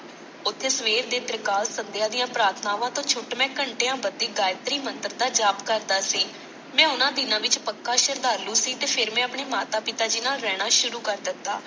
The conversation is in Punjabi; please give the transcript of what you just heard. ਓਥੇ ਸੇਵਰ ਦੇ ਤ੍ਰਿਕਾਲ ਸੰਧਿਆ ਦੀਆਂ ਪ੍ਰਾਰਥਨਾਵਾਂ ਤੋਂ ਛੁੱਟ ਮੈਂ ਘੰਟਿਆਂ ਬੱਦੀ ਗਾਇਤ੍ਰੀ ਮੰਤ੍ਰ ਦਾ ਜਾਪੁ ਕਰਦਾ ਸੀ, ਮੈਂ ਉਹਨਾਂ ਦਿਨਾਂ ਵਿਚ ਪੱਕਾ ਸ਼ਰਧਾਲੂ ਸੀ ਤੇ ਫੇਰ ਮੈਂ ਆਪਣੇ ਮਾਤਾ ਪਿਤਾ ਜੀ ਨਾਲ ਰਹਿਣਾ ਸ਼ੁਰੂ ਕਰ ਦਿੱਤਾ।